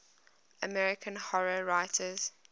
american horror writers